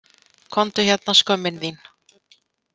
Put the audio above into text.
Komdu hérna skömmin þín!